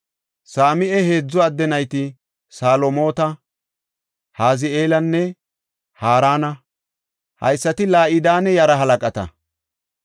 Same7a heedzu adde nayti Salomoota, Hazi7eelanne Harana; haysati La7idane yaraa halaqata.